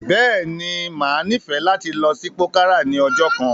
Bẹ́ẹ̀ ni, màá nífẹ̀ẹ̀ láti lọ sí pòkárà ní ọjọ́ kan.